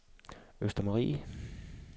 Østermarie